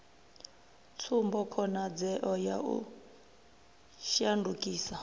tsumbo khonadzeo ya u shandukisa